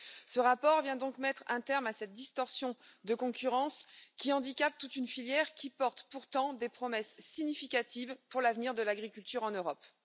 Ce rapport vient donc mettre un terme à cette distorsion de concurrence, qui handicape toute une filière, qui porte pourtant des promesses significatives pour l'avenir de l'agriculture en Europe.